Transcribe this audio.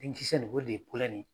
Denkisɛ nin o de ye nin ye.